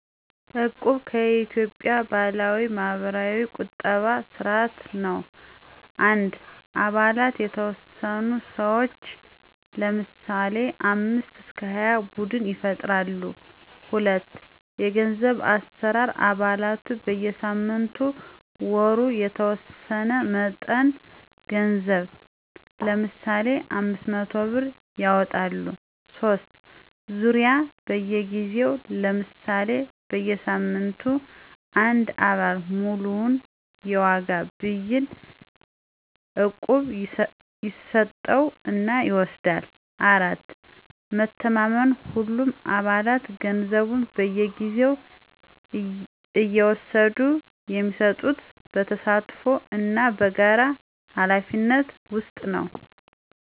"እቁብ" የኢትዮጵያ ባህላዊ (ማህበራዊ ቁጠባ ስርዓት) ነው። 1. አባላት የተወሰኑ ሰዎች (ለምሳሌ 5-20) ቡድን ይፈጥራሉ። 2. የገንዘብ አሠራር አባላቱ በየሳምንቱ/ወሩ የተወሰነ መጠን ገንዘብ (ለምሳሌ 500 ብር) ያዋጣሉ። 3. ዙርያ በየጊዜው (ለምሳሌ በየሳምንቱ) አንድ አባል ሙሉውን የዋጋ ብይን (እቁብ) ይስጠው እና ይወስዳል። 4. መተማመን ሁሉም አባላት ገንዘቡን በየጊዜው እየወሰዱ የሚሰጡት በተሳትፎ እና በጋራ ኃላፊነት ውስጥ ነው።